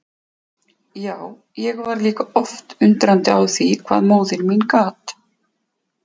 Já, ég var líka oft undrandi á því hvað móðir mín gat.